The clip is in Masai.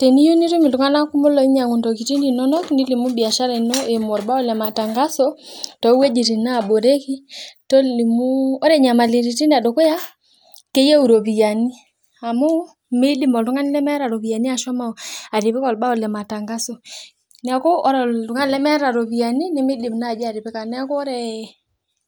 Teniyieu nitum ltunganak kumok oinyangu ntokitin inonok nilimu biashara ino eimu orbao lematangaso towuejitin naboreki tolimu ore nyamalitin edukuya keyieu iropiyiani amu midim oltungani lemeeta ropiyani ashomo atipika orbao lematangaso neakubore oltungani lemeeta ropiyani nimidim atipika neaku ore